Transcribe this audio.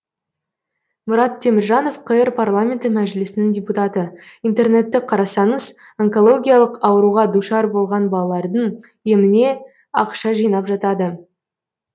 мұрат теміржанов қр парламенті мәжілісінің депутаты интернетті қарасаңыз онкологиялық ауруға душар болған балалардың еміне ақша жинап жатады